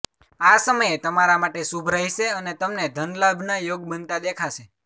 આ સમયે તમારા માટે શુભ રહેશે અને તમને ધનલાભ ના યોગ બનતા દેખાશે